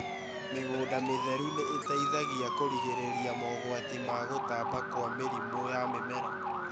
Mĩgũnda mĩtheru nĩ ĩteithagia kũgirĩrĩria mogũati ma gũtamba kũa mĩrimũ ya mĩmera.